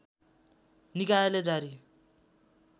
निकायले जारी